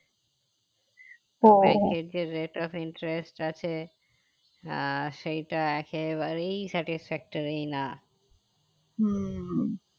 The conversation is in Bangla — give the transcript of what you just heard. bank এর যে rate of interest আছে আহ সেইটা একেবারেই satisfactory না